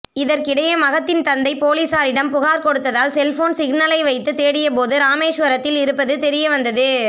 இதற்கிடையே மகத்தின் தந்தை பொலிஸாரிடம் புகார் கொடுத்ததால் செல்போன் சிக்னலை வைத்து தேடியபோது ராமேஸ்வரத்தில் இருப்பது தெரியவந்தது